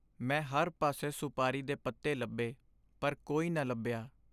ਮੈਂ ਹਰ ਪਾਸੇ ਸੁਪਾਰੀ ਦੇ ਪੱਤੇ ਲੱਭੇ ਪਰ ਕੋਈ ਨਾ ਲੱਭਿਆ।